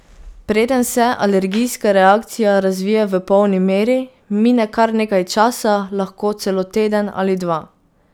Preden se alergijska reakcija razvije v polni meri, mine kar nekaj časa, lahko celo teden ali dva.